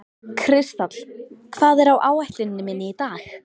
Kristall, hvað er á áætluninni minni í dag?